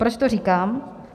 Proč to říkám?